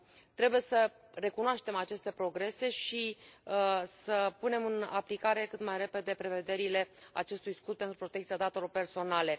Trebuie să recunoaștem aceste progrese și să punem în aplicare cât mai repede prevederile acestui scut pentru protecția datelor personale.